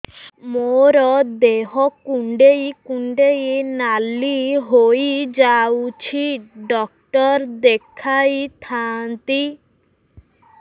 ମୋର ଦେହ କୁଣ୍ଡେଇ କୁଣ୍ଡେଇ ନାଲି ହୋଇଯାଉଛି ଡକ୍ଟର ଦେଖାଇ ଥାଆନ୍ତି